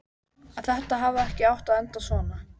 Að þetta hafi ekki átt að enda svona.